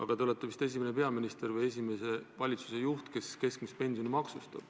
Ja te olete vist esimene peaminister või esimese valitsuse juht, kes keskmist pensioni maksustab.